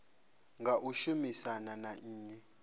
nga u shumisana na nnyi